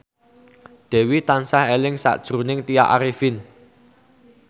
Dewi tansah eling sakjroning Tya Arifin